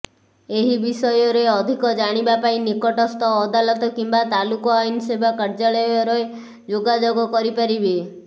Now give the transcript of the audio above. ଏହି ବିଷୟରେ ଅଧିକ ଜାଣିବା ପାଇଁ ନିକଟସ୍ଥ ଅଦାଲତ କିମ୍ବା ତାଲୁକ ଆଇନ୍ ସେବା କାର୍ଯ୍ୟାଳୟରେ ଯୋଗାଯୋଗ କରିପାରିବେ